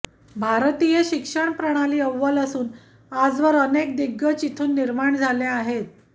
भारतीय शिक्षणप्रणाली अव्वल असून आजवर अनेक दिग्गज इथून निर्माण झाले आहेत